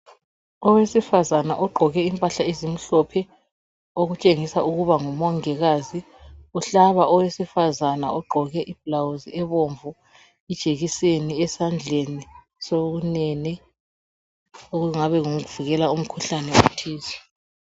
owesifazana ogqoke impahla ezimhlophe okutshengisela ukuba ngumongikazi uhlaba owesifazana ogqoke ibhilawuzielibomvu ijekiseni esandleni sakhe sobunene okungabe yikuvikela umkhuhlane othize